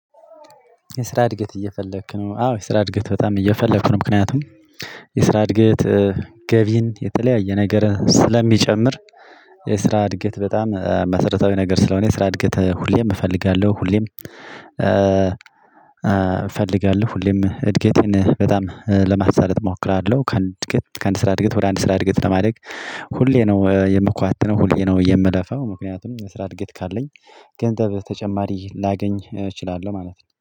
የስራ እድገት እየፈለክ ነው? አዎ የስራ እድገት በጣም እየፈለኩ ነው። ምክንያቱም የስራ እድገት ገቢን የተለያየ ነገር ስለሚጨምር። የስራ እድገት በጣም መሰረታዊ ነገር ስለሆነ የስራ እድገት ሁሌም እፈልጋለሁ ሁሌም እፈልጋለሁ ሁሌም እድገቴን በጣም ለማሳለጥ እሞክራለሁ። ከአንድ እድገት ከአንድ ስራ እድገት ወደ አንድ የስራ እድገት ለማድረግ ሁሌ ነው የምኳትነው ሁሌ ነው የምለፋው። ምክንያቱም ስራ እድገት ካለኝ ገንዘብ በተጨማሪ ላገኝ እችላለሁ ማለት ነው